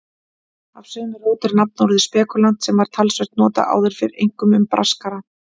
Af sömu rót er nafnorðið spekúlant sem var talsvert notað áður fyrr, einkum um braskara.